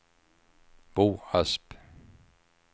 Bo Asp